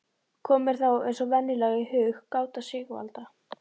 Kom mér þá eins og venjulega í hug gáta Sigvalda